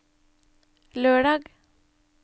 lørdag